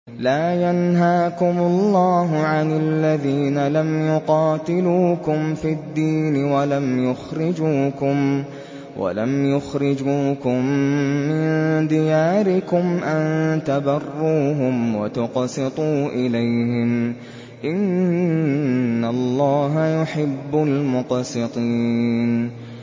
لَّا يَنْهَاكُمُ اللَّهُ عَنِ الَّذِينَ لَمْ يُقَاتِلُوكُمْ فِي الدِّينِ وَلَمْ يُخْرِجُوكُم مِّن دِيَارِكُمْ أَن تَبَرُّوهُمْ وَتُقْسِطُوا إِلَيْهِمْ ۚ إِنَّ اللَّهَ يُحِبُّ الْمُقْسِطِينَ